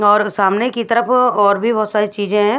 और सामने की तरफ और भी बहुत सारी चीजें हैं।